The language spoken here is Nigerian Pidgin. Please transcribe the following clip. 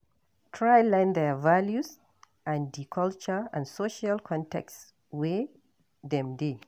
Try learn their values and di cultural and social context wey dem dey